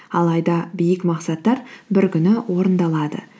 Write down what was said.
алайда биік мақсаттар бір күні орындалады